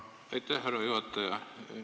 Aitäh, härra juhataja!